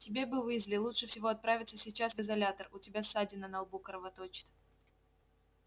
тебе бы уизли лучше всего отправиться сейчас в изолятор у тебя ссадина на лбу кровоточит